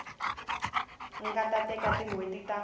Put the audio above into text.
nga teka tin hweti ta